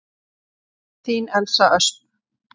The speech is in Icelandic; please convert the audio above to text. Þín Elsa Ösp.